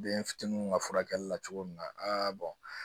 Den fitiniw ka furakɛli la cogo min na a